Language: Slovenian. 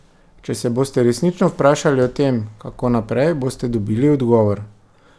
Če se boste resnično vprašali o tem, kako naprej, boste dobili odgovor.